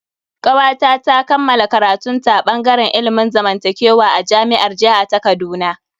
Kawata ta kammala karatun ta a bangaren ilimin zamantakewa a jami'ar jiha ta Kaduna.